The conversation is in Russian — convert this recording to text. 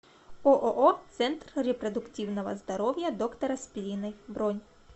ооо центр репродуктивного здоровья доктора спириной бронь